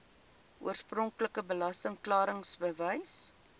oorspronklike belasting klaringsbewys